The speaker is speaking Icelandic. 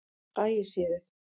Ægissíðu